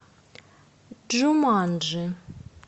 джуманджи